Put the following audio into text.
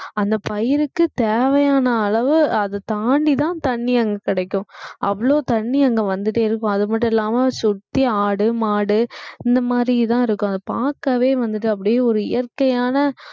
அந்த பயிருக்கு தேவையான அளவு அது தாண்டிதான் தண்ணி அங்க கிடைக்கும் அவ்வளவு தண்ணி அங்க வந்துட்டே இருக்கும் அது மட்டும் இல்லாம சுத்தி ஆடு, மாடு இந்த மாதிரி தான் இருக்கும் அது பார்க்கவே வந்துட்டு அப்படியே ஒரு இயற்கையான